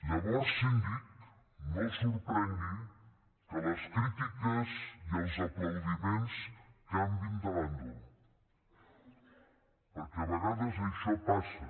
llavors síndic no el sorprengui que les crítiques i els aplaudiments canviïn de bàndol perquè a vegades això passa